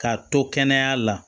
K'a to kɛnɛya la